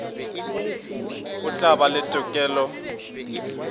o tla ba le tokelo